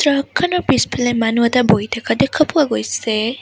Truck খনৰ পিছফালে মানুহ এটা বহি থকা দেখা পোৱা গৈছে।